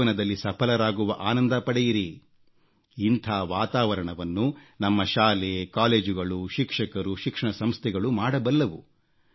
ಜೀವನದಲ್ಲಿ ಸಫಲರಾಗುವ ಆನಂದ ಪಡೆಯಿರಿ ಇಂಥ ವಾತಾವರಣವನ್ನು ನಮ್ಮ ಶಾಲೆ ಕಾಲೇಜುಗಳು ಶಿಕ್ಷಕರು ಶಿಕ್ಷಣ ಸಂಸ್ಥೆಗಳು ಮಾಡಬಲ್ಲವು